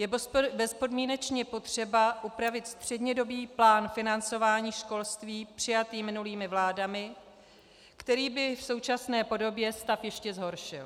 Je bezpodmínečně potřeba upravit střednědobý plán financování školství přijatý minulými vládami, který by v současné podobě stav ještě zhoršil.